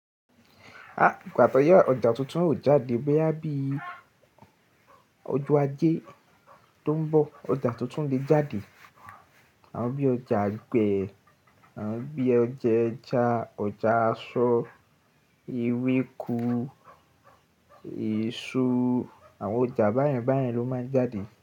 Ah! Ìpàtóyẹ́ ọjà tuntun ó jáde bóyá bí ojo Ajé tó ń bọ̀. Ọjà tuntun lè jáde, àwọn bí i ọjà agbe àwọn bí i ọjà ẹja, ọjà aṣọ, ewéko, èso, àwọn ọjà báyen bayen lo máa ń jáde.